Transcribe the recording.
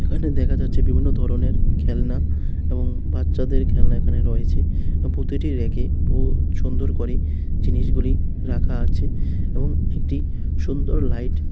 দেখা যাচ্ছে বিভিন্ন ধরনের খেলনা এবং বাচ্চাদের খেলনা এখানে রয়েছে ও প্রতিটি রেকে উম সুন্দর করে জিনিসগুলি রাখা আছে এবং একটি সুন্দর লাইট --